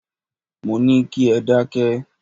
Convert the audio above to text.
Mo ní kí ẹ dákẹ́!